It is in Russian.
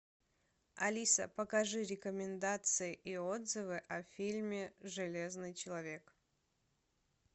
алиса покажи рекомендации и отзывы о фильме железный человек